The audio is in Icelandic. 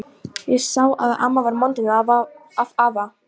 Ég sá að amma var montin af afa.